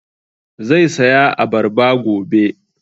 Zai saya abarba gobe